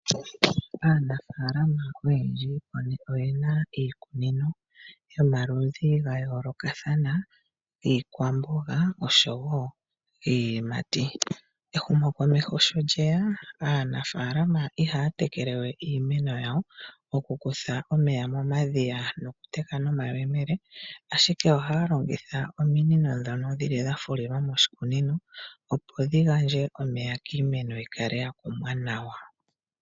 Aanafalama oyendji oyena iikunino yomaludhi gayoolokathana iikunino yiikwamboga oshowo iiyimati. Ehumo komeho sho lyeya aanafalama ihaya tekelewe iimeno yawo taya kutha omeya momadhiya taya teke nomayemele, ihe ohaya longitha ominino dhafulilwa moshikunino, opo dhigandje omeya kiimeno yikale yakumwa nawa.